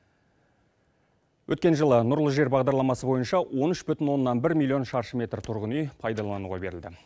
өткен жылы нұрлы жер бағдарламасы бойынша он үш бүтін оннан бір миллион шаршы метр тұрғын үй пайдалануға берілді